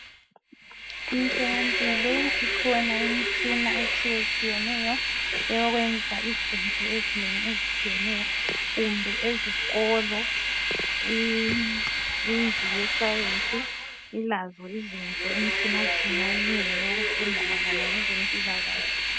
Emtholampilo ikhona imitshina etshiyetshiyeneyo eyokwenza izinto ezinengi ezitshiyeneyo kumbe ezikolo indlu yesayensi ilazo izinto imitshinatshina eminengi yokufunda mayelana ngezempilakahle.